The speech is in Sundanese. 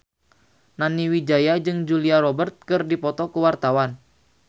Nani Wijaya jeung Julia Robert keur dipoto ku wartawan